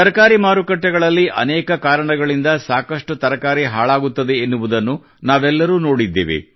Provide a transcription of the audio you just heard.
ತರಕಾರಿ ಮಾರುಕಟ್ಟೆಗಳಲ್ಲಿ ಅನೇಕ ಕಾರಣಗಳಿಂದ ಸಾಕಷ್ಟು ತರಕಾರಿ ಹಾಳಾಗುತ್ತವೆ ಎನ್ನುವುದನ್ನು ನಾವೆಲ್ಲರೂ ನೋಡಿದ್ದೇವೆ